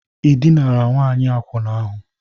Ịdịnara Nwanyi Akwuna ahụ?